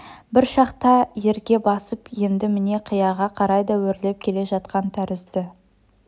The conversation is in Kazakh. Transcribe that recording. бір шақта ерге басып енді міне қияға қарай да өрлеп келе жатқан тәрізді